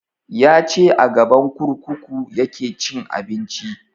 Ya ce a gaban kurkuku ya ke cin abinci